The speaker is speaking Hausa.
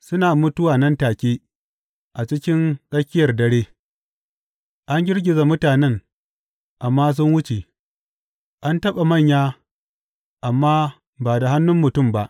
Suna mutuwa nan take, a cikin tsakiyar dare; an girgiza mutanen amma sun wuce; an taɓa manya amma ba da hannun mutum ba.